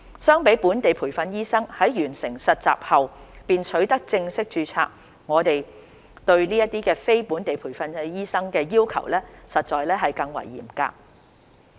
相比本地培訓醫生在完成實習後便取得正式註冊，我們對這些非本地培訓醫生的要求實在更為嚴格。